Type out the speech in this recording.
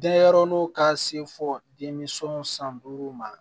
Denyɛrɛnin ka se fɔ denminsɛnw san duuru ma